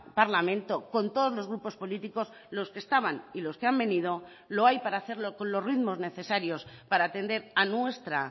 parlamento con todos los grupos políticos los que estaban y los que han venido lo hay para hacerlo con los ritmos necesarios para atender a nuestra